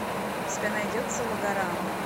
у тебя найдется логорама